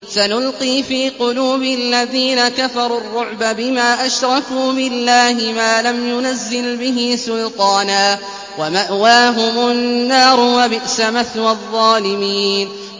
سَنُلْقِي فِي قُلُوبِ الَّذِينَ كَفَرُوا الرُّعْبَ بِمَا أَشْرَكُوا بِاللَّهِ مَا لَمْ يُنَزِّلْ بِهِ سُلْطَانًا ۖ وَمَأْوَاهُمُ النَّارُ ۚ وَبِئْسَ مَثْوَى الظَّالِمِينَ